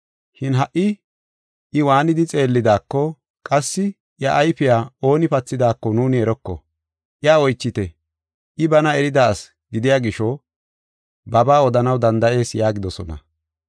Shin ha77i I waanidi xeellidaako qassi iya ayfiya ooni pathidaako nuuni eroko. Iya oychite. I bana erida asi gidiya gisho babaa odanaw danda7ees” yaagidosona.